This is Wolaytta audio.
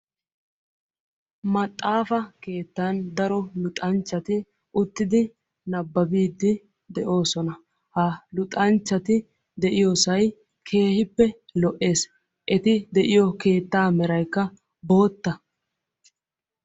Maxaafa keettan daro luxxxanchchati uttidi nababid de'ososna. Ha luxxanchchati de'iyoosay keehippe lo'ees. Eti de'iyoo keettaa meraykka bootta.